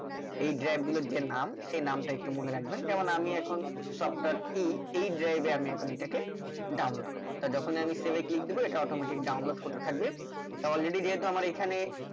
এই drag গুলোর যে নাম সে নামটা একটু মনে রাখবেন যেমন আমি এখন software key এই drive এ আমি এখন এটাকে download করবো আর যখনি আমি save এ click এটা দিবো automatic download হতে থাকবে তা already যেহুতু আমার এখানে